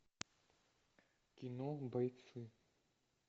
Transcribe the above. кино бойцы